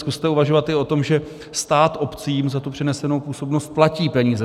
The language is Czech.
Zkuste uvažovat i o tom, že stát obcím za tu přenesenou působnost platí peníze.